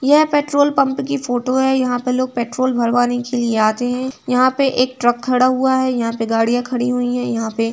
यह petrol pump की photo है यहाँ पे लोग पेट्रोल भरवाने के लिये आते है यहाँ पे एक ट्रक खड़ा हुआ है यहाँ पे गाड़िया खड़ी हुई है यहाँ पे --